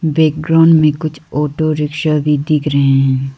Background में कुछ auto rickshaw भी दिख रहे हैं।